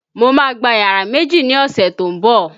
Mo má gba yàrá méjì ni ọ̀sẹ̀ tó ń bọ̀